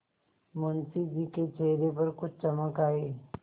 मुंशी जी के चेहरे पर कुछ चमक आई